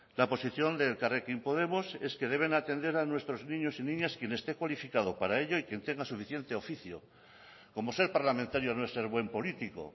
la posición de elkarrekin podemos es que deben atender a nuestros niños y niñas quien esté cualificado para ello y quien tenga suficiente oficio como ser parlamentario no es ser buen político